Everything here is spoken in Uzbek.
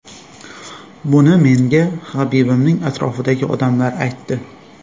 Buni menga Habibning atrofidagi odamlar aytdi.